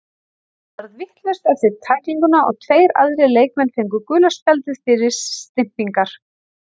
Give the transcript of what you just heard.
Allt varð vitlaust eftir tæklinguna og tveir aðrir leikmenn fengu gula spjaldið fyrir stympingar.